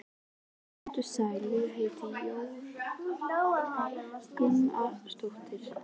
Komdu sæll, ég heiti Jóra Gamladóttir